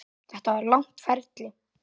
Þetta var langt ferli.